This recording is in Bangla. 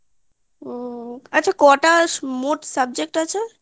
হুম হুম আচ্ছা কটা মোট subject আছে